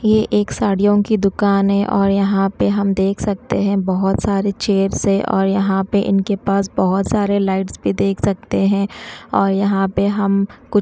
ये एक साड़ियों की दुकान है और यहां पे हम देख सकते हैं बहोत सारे चेयर्स है और यहां पे इनके पास बहोत सारे लाइट्स भी देख सकते हैं और यहां पे हम कु--